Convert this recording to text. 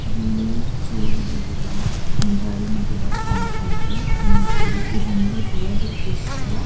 ಇಲ್ಲಿ ಜೋಳದ ಗಿಡ ಹೊಂಜಾಳಿನ ಗಿಡ ಕಾಣತ್ತಾ ಇದೆ ಇಮೇಜ್ ಅಲ್ಲಿ ಇದೊಂದು ಹೊಲದ ದೃಶ್ಯ.